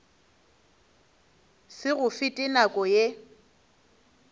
se go fete nako ye